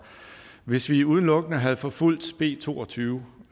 hvis vi udelukkende havde forfulgt b to og tyve